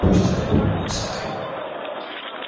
пусть это будет наш секрет